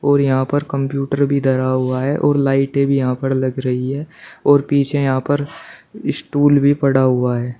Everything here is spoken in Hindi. और यहां पर कंप्यूटर भी धरा हुआ है और लाइटें भी यहां पर लग रही है और पीछे यहां पर स्टूल भी पड़ा हुआ है।